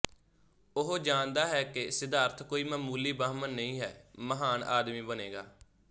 ਉਹ ਜਾਣਦਾ ਹੈ ਕਿ ਸਿੱਧਾਰਥ ਕੋਈ ਮਾਮੂਲੀ ਬਾਹਮਣ ਨਹੀਂ ਹੈ ਮਹਾਨ ਆਦਮੀ ਬਣੇਗਾ